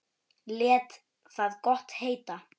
Lét það gott heita.